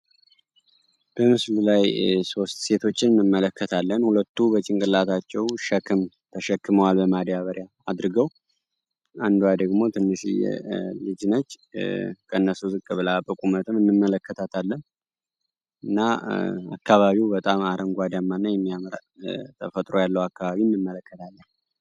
በምስሉ ላይ ሶስት ሴቶችን እንመለከታለን። ሁለቱ በጭንቅላታቸው ሸክም ተሸክመዋል በማዳበሪያ አድርገው። አንዷ ደግሞ ትንሽዬ ልጅ ነች። ከነሱ ዝቅ ብላ በቁመትም እንመለከታለን። እና አካባቢው በጣም አረንጓዴአማ የሚያምር ተፈጥሮ ያለው አካባቢን እንመለከታለን።